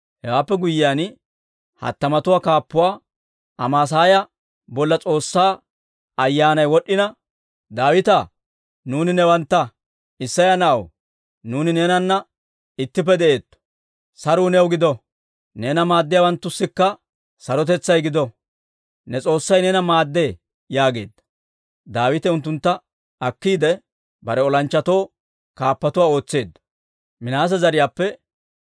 Hewaappe guyyiyaan, hattamatuwaa kaappuwaa Amaasaaya bolla S'oossaa Ayyaanay wod'd'ina, «Daawitaa, nuuni newantta! Isseya na'aw, nuuni neenana ittippe de'eetto! Saruu new gido! Neena maaddiyaawanttussikka sarotetsay gido! Ne S'oossay neena maaddee» yaageedda. Daawite unttuntta akkiide, bare olanchchatoo kaappatuwaa ootseedda.